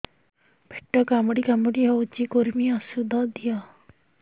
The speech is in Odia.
ପେଟ କାମୁଡି କାମୁଡି ହଉଚି କୂର୍ମୀ ଔଷଧ ଦିଅ